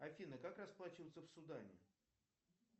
афина как расплачиваться в судане